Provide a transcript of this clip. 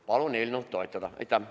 Palun eelnõu toetada!